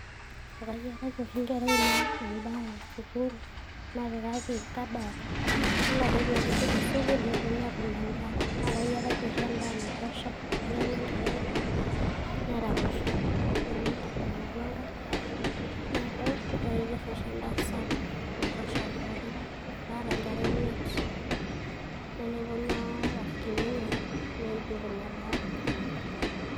Akayiaraki oshi inkera ainei endaa esukuul, napikaki kabat. Ore ade pepuku tesukuul, neponu atum endaa. Nakayiaraki oshi endaa naitosha, neeku kenya enkerai neraposho, nemeigil aing'oru ekae. Neeku, kayier oshi endaa sapuk nabaiki pookin. Naata inkera imiet, na teneponu oshi orafikini enye, neidip ina daa pookin.